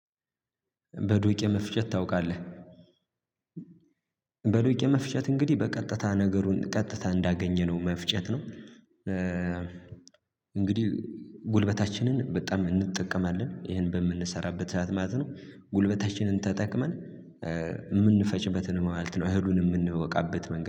በዱቄ መፍጨት ታውቃለህ? በዱቄ መፍጨት እንግዲህ በቀጥታ ነገሩን ቀጥታ እንዳገኘነው መፍጨት ነው። እንግዲህ ጉልበታችንን በጣም እንጠቀማለን ይህን በምንሰራበት ማለት ነው። ጉልበታችንን ተጠቅመን የምንፈጭበትን ማለት ነው። እህሉን የምንወቃበት መንገድ